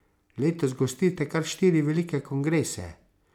Letos gostite kar štiri velike kongrese.